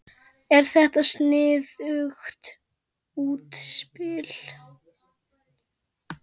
Er þetta sniðugt útspil?